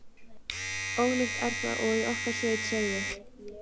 Ólíkt er það og í okkar sveit segðu.